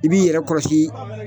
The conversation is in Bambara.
I b'i yɛrɛ kɔlɔsi